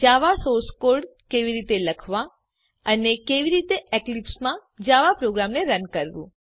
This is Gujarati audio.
જાવા સોર્સ કોડ કેવી રીતે લખવાં અને કેવી રીતે એક્લીપ્સમાં જાવા પ્રોગ્રામને રન કરવું